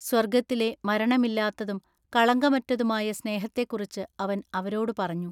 സ്വർഗ്ഗത്തിലെ മരണമില്ലാത്തതും കളങ്കമറ്റതുമായ സ്നേഹത്തെക്കുറിച്ച് അവൻ അവരോടു പറഞ്ഞു.